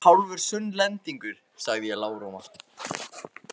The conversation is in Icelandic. Ég er hálfur Sunnlendingur, sagði ég lágróma.